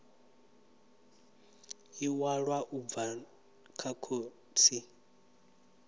iwalwa u bva kha notsi